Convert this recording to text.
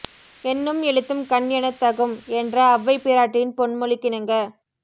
எண்ணும் எழுத்தும் கண் எனத் தகும் என்ற அவ்வை பிராட்டியின் பொன்மொழிக்கிணங்க